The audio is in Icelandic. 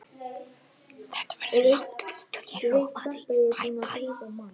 Þessir geymar tóku alls